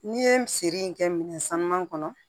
N'i ye feere in kɛ minɛn sanuman kɔnɔ